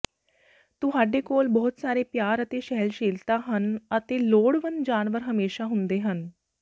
ਤੁਹਾਡੇ ਕੋਲ ਬਹੁਤ ਸਾਰੇ ਪਿਆਰ ਅਤੇ ਸਹਿਣਸ਼ੀਲਤਾ ਹਨ ਅਤੇ ਲੋੜਵੰਦ ਜਾਨਵਰ ਹਮੇਸ਼ਾ ਹੁੰਦੇ ਹਨ